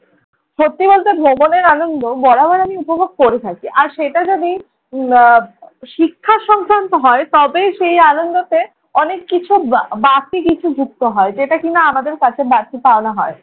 সত্যি বলতে ভ্রমণের আনন্দ বরাবর আমি উপভোগ করে থাকি। আর সেটা যদি আহ শিক্ষাসংক্রান্ত হয় তবে সেই আনন্দতে অনেক কিছু বা~ বাড়তি কিছু যুক্ত হয়। যেটা কিনা আমাদের কাছে বাড়তি পাওনা হয়।